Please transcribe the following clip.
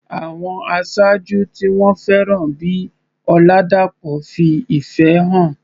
Àwọn aṣáájú tí wọ́n fẹ́ràn bíi Oladapo fi ìfẹ́ hàn.